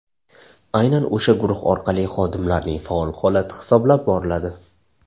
Aynan o‘sha guruh orqali xodimlarning faol holati hisoblab boriladi.